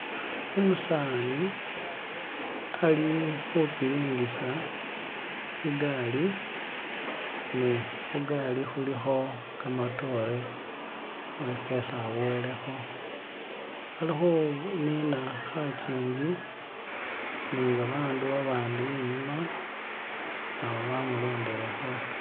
Umusani ali khupiringisa igaali ni khugaali khulikho kamatoore iliwo kesi abowelekho ali khunina khajinji ni babandu babandi inyuma nabo bamulondelekho.